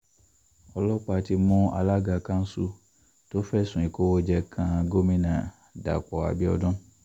ọlọ́pàá ti mú alága kanṣu tó fẹ̀sùn ìkówóje kan gomina dapò abiodun